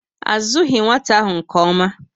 A zughi nwata ahụ nke ómá